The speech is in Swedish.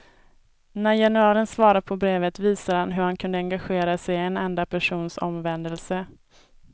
När generalen svarade på brevet, visade han hur han kunde engagera sig i en enda persons omvändelse.